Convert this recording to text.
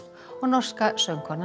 og norska söngkonan